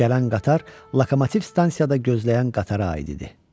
Gələn qatar lokomotiv stansiyada gözləyən qatara aid idi.